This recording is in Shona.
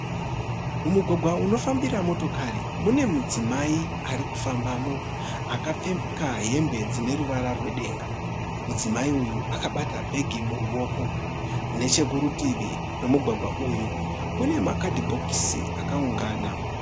Mumugwagwa unofambira motokari mune mudzimai ari kufambamo akapfeka hembe dzine ruvara rwedenga. Mudzimai uyu akabata bhegi muruoko, nechekurutivi kwemugwagwa uyu kune makadhibhokisi akaungana.